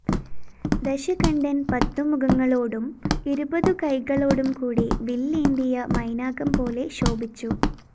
ദശകണ്ഠന്‍ പത്തുമുഖങ്ങളോടും ഇരുപതുകൈകളോടും കൂടി വില്ലേന്തിയ മൈനാകംപോലെ ശോഭിച്ചു